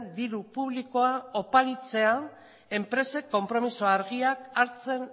diru publikoa oparitzea enpresek konpromiso argiak hartzen